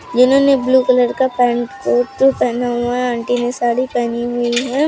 इन्होंने ने blue colour का पैंट कोट पहना हुआ है आंटी ने साड़ी पहनी हुई है।